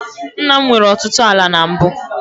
Nna m nwere ọtụtụ ala na mbụ.